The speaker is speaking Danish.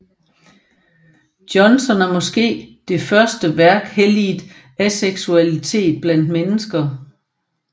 Johnson er måske det første værk helliget aseksualitet blandt mennesker